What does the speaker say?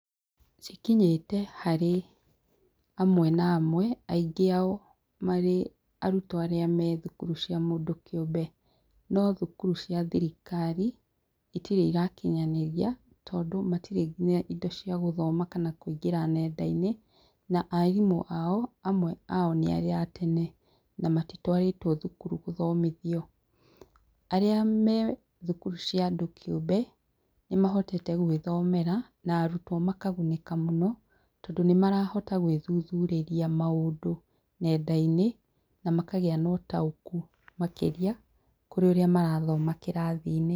Cikinyĩte harĩ amwe na amwe, aingĩ ao marĩ arutwo arĩa marĩ thukuru cia mũndũ kĩũmbe. No thukuru cia thirikari itirĩ irakinyanĩria tondũ matirĩ indo cia gũthoma kana kũingĩra ng'enda-inĩ, na arimũ ao, amwe ao nĩarĩa a tene na matitwarĩtwo thukuru gũthomithio. Arĩa methukuru cia andũ kĩumbe nĩmahitete gwĩthomera na arutwo makagunĩka mũno tondũ nĩmarahota gwĩthuthurĩria maũndũ nge'nda-inĩ na makagĩa na ũtaũku makĩria kũrĩ ũrĩa marathoma kĩrathi-inĩ.